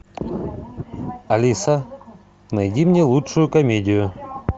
алиса найди мне лучшую комедию